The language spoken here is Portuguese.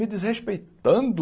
Me desrespeitando?